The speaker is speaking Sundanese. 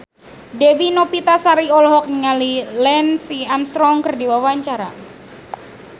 Dewi Novitasari olohok ningali Lance Armstrong keur diwawancara